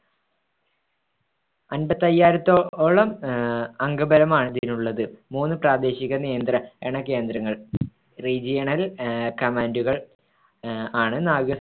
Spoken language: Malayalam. അൻപത്തയ്യായിരത്തോ~ഓളം ആഹ് അംഗബലമാണ് ഇതിനുള്ളത്. മൂന്ന് പ്രാദേശിക നിയന്ത്ര~ണ കേന്ദ്രങ്ങൾ regional ആഹ് command കൾ ആഹ് ആണ് നാവിക